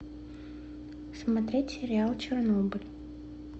смотреть сериал чернобыль